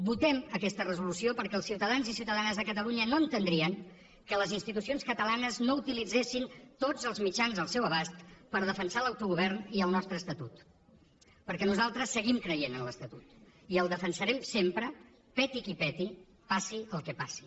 votem aquesta resolució perquè els ciutadans i ciutadanes de catalunya no entendrien que les institucions catalanes no utilitzessin tots els mitjans al seu abast per defensar l’autogovern i el nostre estatut perquè nosaltres seguim creient en l’estatut i el defensarem sempre peti qui peti passi el que passi